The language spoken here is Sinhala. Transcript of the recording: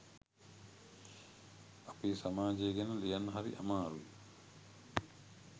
අපේ සමාජය ගැන ලියන්න හරි අමාරුයි